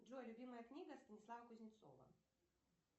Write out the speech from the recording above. джой любимая книга станислава кузнецова